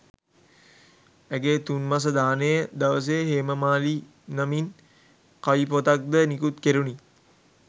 ඇගේ තුන් මස දානය දවසේ හේමමාලි නමින් කවිපොතක්ද නිකුත් කෙරුණි.